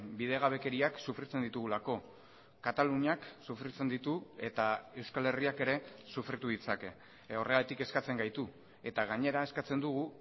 bidegabekeriak sufritzen ditugulako kataluniak sufritzen ditu eta euskal herriak ere sufritu ditzake horregatik kezkatzen gaitu eta gainera eskatzen dugu